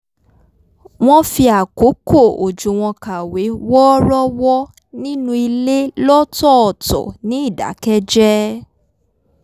wọ́n fi àkókò òjò wọn kàwé wọ́ọ́rọ́wọ́ nínú ilé lọ́tọ̀ọ̀tọ̀ ní ìdákẹ́jẹ́ẹ́